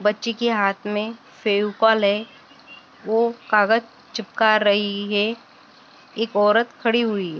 बच्ची की हात मे फेवकॉल है वो कागज चिपका र-रही है। एक औरत खड़ी हुई है।